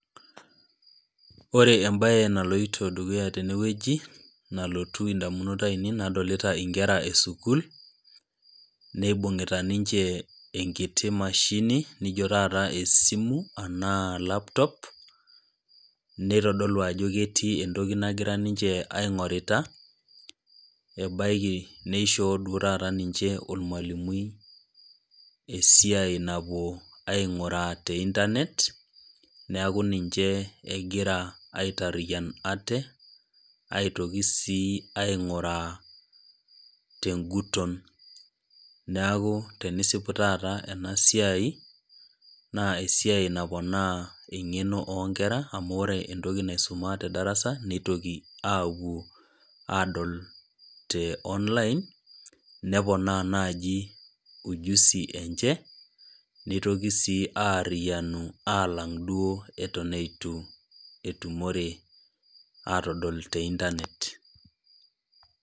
Ore embaye naloito dukuya tenewueji, nalotu indamunot ainei nadolita inkera e sukuul, neibung'ita ninche eniti mashini naijo taata esimu anaa laptop, neitodolu ajo ketii entoki ninche naing'orita ebaiki neishoo ninche duo taata olmwalimui esiai napuo aing'uraa te internet, neaku ninche egira aitariyan aate, aitoki sii aing'uraa teng'uton, neaku tenisipu taata ena siai, naa esiai naponaa eng'eno oo nkera amu ore entoki naisuma te darasa neitoki aapuo aadol te online, neponaa naaji ujuzi enche neitoki sii duo aariyanu aalng' duo eton eitu etumore aatadol te internet.